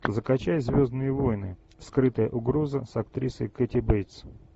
закачай звездные войны скрытая угроза с актрисой кэти бейтс